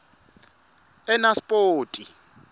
enaspoti